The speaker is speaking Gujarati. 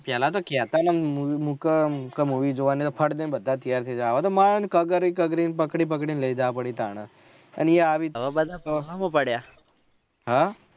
પેહલા તો કેહતા થા મુકો movie જોવાની ત ફટ દયને બધા તૈયાર થઇ જાય હવે તો માંન ખ્કરી ખ્કરી પકડી પકડી ને લઇ જાવ પડે ત્યારે એઈ આવે